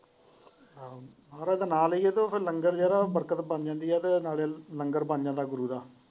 ਮਹਾਰਾਜ ਦਾ ਨਾ ਲਈਆਂ ਤਾ ਫੇਰ ਲੰਗਰ ਜਿਹੜਾ ਬਰਕਤ ਬਣ ਜਾਂਦੀ ਹੈ ਤੇ ਨਾਲੇ ਲੰਗਰ ਬਣ ਜਾਂਦਾ ਹੈ ਗੁਰੁ ਦਾ।